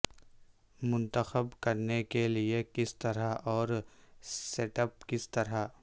منتخب کرنے کے لئے کس طرح اور سیٹ اپ کس طرح